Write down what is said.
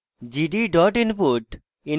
gd dot input